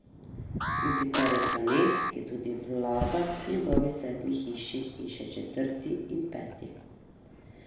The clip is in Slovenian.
Jupiter je planet, ki tudi vlada njegovi sedmi hiši in še četrti in peti ...